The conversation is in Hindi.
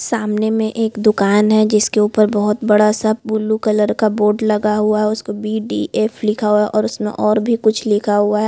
सामने में एक दुकान है जिसके उपर बहोत बड़ा सा बुलू कलर का बोर्ड लगा हुआ है उसके बी डी एफ लिख हुआ है और उसमें और भी कुछ लिखा हुआ है।